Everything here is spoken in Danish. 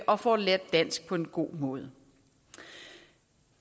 og får lært dansk på en god måde